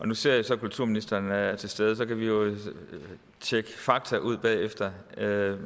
nu ser jeg så at kulturministeren er til stede og så kan vi jo tjekke fakta ud bagefter med